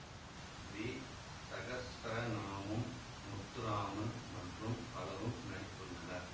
we Sahasranamam Muthuraman மற்றும் பலரும் நடித்துள்ளனர்